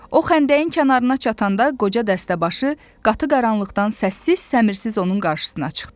O xəndəyin kənarına çatanda qoca dəstəbaşı qatı qaranlıqdan səssiz-səmirsiz onun qarşısına çıxdı.